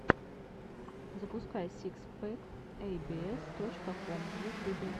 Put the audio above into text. запускай сикс пэк эй би эс точка ком в ютюбе